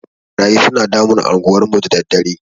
Ɓarayi suna damun anguwan mu da daddare.